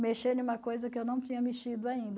Mexer em uma coisa que eu não tinha mexido ainda.